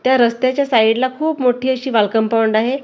त्या रस्त्याच्या साईड ला खूप मोठी अशी वाल कंपाऊंड आहे.